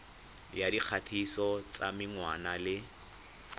ya dikgatiso tsa menwana le